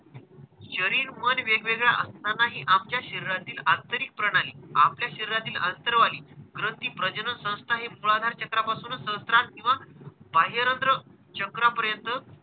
शरीर, मन वेगवेगळे असतानाही आमच्या शरीरातील आंतरिक प्रणाली आपल्या शरीरातील अंतरावली ग्रंथी, प्रजनन संस्था हे मूलाधार चक्रापासून सहस्त्रार किंवा बाह्यरंध्र चक्रापर्यंत,